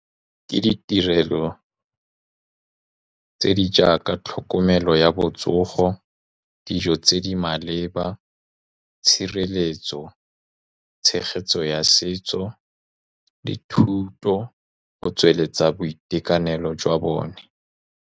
Ke ditirelo tse di jaaka tlhokomelo ya botsogo, dijo tse di maleba, tshireletso, tshegetso ya setso le thuto go tsweletsa boitekanelo jwa bone.